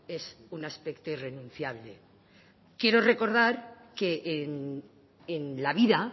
es un aspecto irrenunciable quiero recordar que en la vida